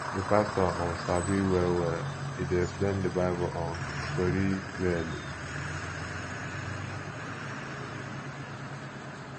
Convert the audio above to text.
di pastor um sabi well well e dey explain di bible um story clearly